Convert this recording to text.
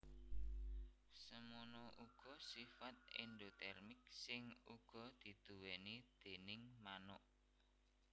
Semono uga sifat endotermik sing uga diduwéni déning manuk